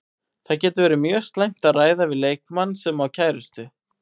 Það getur verið mjög slæmt að ræða við leikmann sem á kærustu.